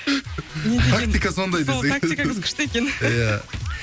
тактика сондай сол тактикаңыз күшті екен иә